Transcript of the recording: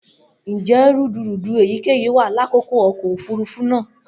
Njẹ rudurudu eyikeyi wa lakoko ọkọ ofurufu naa?